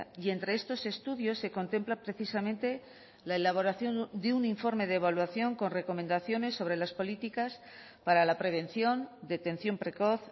y entre estos estudios se contempla precisamente la elaboración de un informe de evaluación con recomendaciones sobre las políticas para la prevención detención precoz